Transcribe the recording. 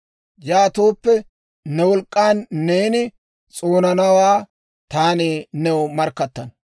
Yaatooppe, ne wolk'k'an neeni s'oonanawaa taani new markkattana.